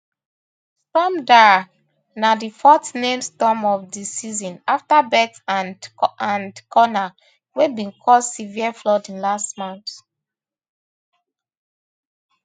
storm darragh na di fourth named storm of di season afta bert and and conall wey bin cause severe flooding last month